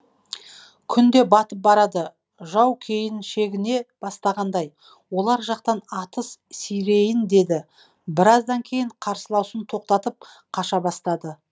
күн де батып барады жау кейін шегіне бастағандай олар жақтан атыс сирейін деді біраздан кейін қарсыласуын тоқтатып қаша бастады